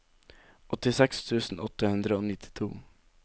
åttiseks tusen åtte hundre og nittito